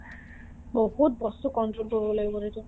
বহুত বছৰ control কৰিব লাগিব সেইটো